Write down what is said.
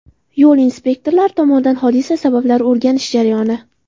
Yo‘l inspektorlari tomonidan hodisa sabablarini o‘rganish jarayoni.